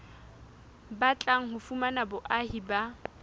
batlang ho fumana boahi ba